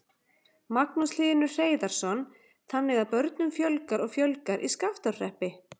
Magnús Hlynur Hreiðarsson: Þannig að börnum fjölgar og fjölgar í Skaftárhreppi?